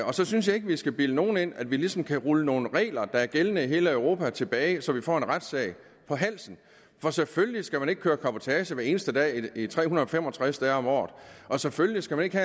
og så synes jeg ikke at vi skal bilde nogen ind at vi ligesom kan rulle nogle regler der er gældende i hele europa tilbage så vi får en retssag på halsen for selvfølgelig skal man ikke køre cabotage hver eneste dag tre hundrede og fem og tres dage om året og selvfølgelig skal vi ikke